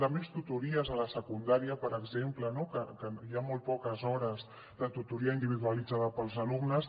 de més tutories a la secundària per exemple que hi ha molt poques hores de tutoria individualitzada per als alumnes